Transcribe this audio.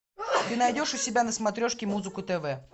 ты найдешь у себя на смотрешке музыку тв